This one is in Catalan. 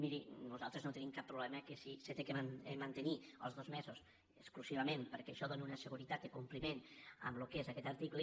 miri nos·altres no tenim cap problema que si s’han de mante·nir els dos mesos exclusivament perquè això dóna una seguretat de compliment en el que és aquest article